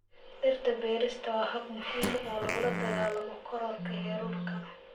Dhirta beerista waa hab muhiim ah oo lagula dagaallamo kororka heerkulka.